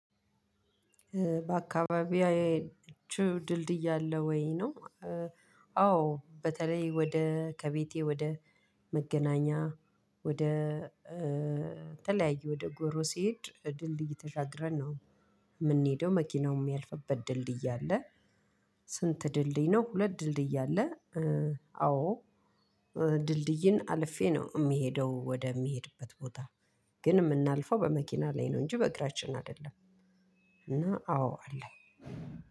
በአካባቢያችሁ ድልድይ ያለ ወይ ነው? አዎ በተለይ ወደ ከቤቴ ወደ መገናኛ ወደ ተለያዩ ወደ ጎሮ ሲሄድ ድልድይ ተሻግረን ነው የምንሄደው መኪናውም እሚያልፍበት ድልድይ አለ። ስንት ድልድይ ነው? ሁለት ድልድይ አለ። አዎ ድልድይን አልፌ ነው የሚሄደው ወደሚሄድበት ቦታ። ግን የምናልፈው በመኪና ላይ ነው እንጂ በእግራችን አይደለም። እና አዎ አለ።